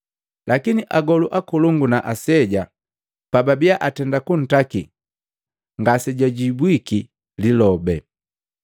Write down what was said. Lakini agolu akolongu na aseja pababia atenda kuntaki, ngasejwajibwiki lilobe.